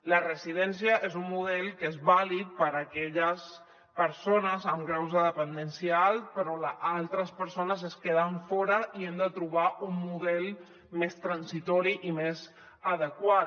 la residència és un model que és vàlid per aquelles persones amb graus de dependència alt però altres persones es queden fora i hem de trobar un model més transitori i més adequat